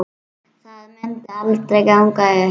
Það myndi aldrei ganga upp.